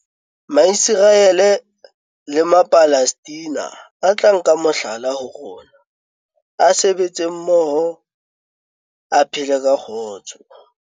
Maiseraele le Mapalestina a tla nka mohlala ho rona, a sebetse mmoho a phele ka kgotso.